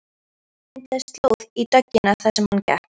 Það myndaðist slóð í dögg- ina þar sem hann gekk.